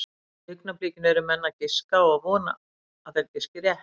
Í augnablikinu eru menn að giska og vona að þeir giski rétt.